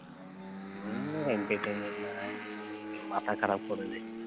হুঁ, entertainment নায় জেউ মাথা খারাপ করে দে